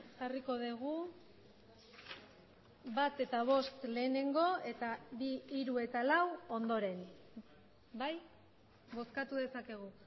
jarriko dugu bat eta bost lehenengo eta bi hiru eta lau ondoren bai bozkatu dezakegu